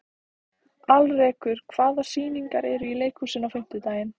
Alrekur, hvaða sýningar eru í leikhúsinu á fimmtudaginn?